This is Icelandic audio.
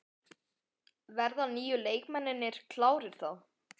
Verða nýju leikmennirnir klárir þá?